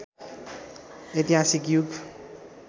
ऐतिहासिक युग